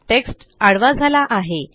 text आडवा झाला आहे